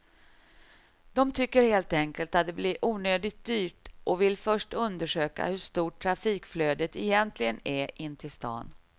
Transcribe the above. De tycker helt enkelt att det blir onödigt dyrt och vill först undersöka hur stort trafikflödet egentligen är in till stan.